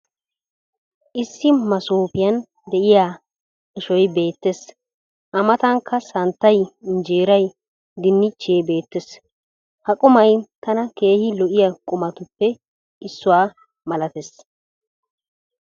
issi masoopiyan diya diya ashshoy beetees. a matankka santtay, injeeray, dinichchee beetees. ha qummay tana keehi lo'iya qumatuppe issuwa malatees.